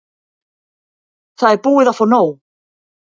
Það er búið að fá nóg.